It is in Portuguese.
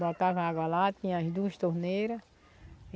Botava água lá, tinha as duas torneiras.